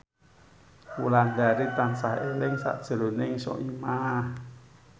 Wulandari tansah eling sakjroning Soimah